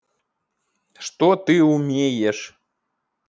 что ты умеешь